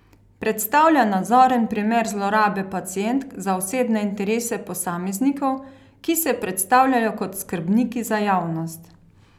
Predstavlja nazoren primer zlorabe pacientk za osebne interese posameznikov, ki se predstavljajo kot skrbniki za javnost.